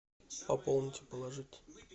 пополнить положить